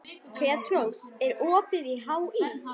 Petrós, er opið í HÍ?